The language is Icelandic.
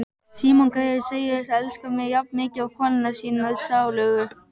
Símon greyið segist elska mig jafnmikið og konuna sína sálugu.